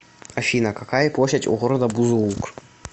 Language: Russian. афина какая площадь у города бузулук